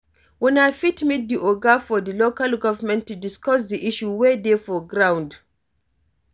Una fit meet di oga for di local government to discuss di issue wey dey for ground